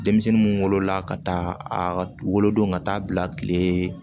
Denmisɛnnin mun wolola ka taa a ka wolodon ka taa bila kile